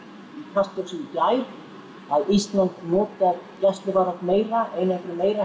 Kastljósi í gær að Ísland notar gæsluvarðhald meira einangrun meira